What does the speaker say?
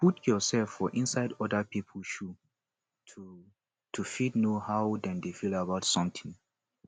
put yourself for inside oda pipo shoe to to fit know how dem feel about something